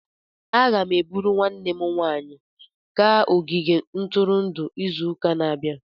Aga m eburu nwanne m nwanyị gaa ogige ntụrụndụ izu ụka na-abịa.